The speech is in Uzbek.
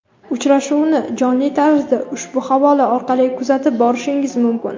Uchrashuvni jonli tarzda ushbu havola orqali kuzatib borishingiz mumkin.